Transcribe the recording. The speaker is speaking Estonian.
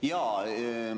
Jaa!